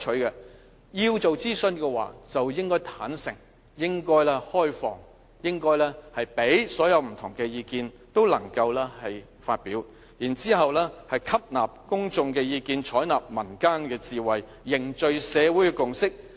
要做諮詢就應該坦誠、開放，讓不同意見都能發表，然後吸納公眾意見，採納民間智慧，凝聚社會共識。